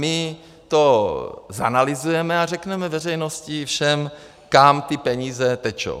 My to zanalyzujeme a řekneme veřejnosti, všem, kam ty peníze tečou.